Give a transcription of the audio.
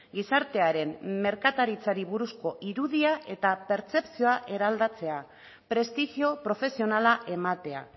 gizartearen merkataritzari buruzko irudia eta pertzepzioa eraldatzea prestigio profesionala ematea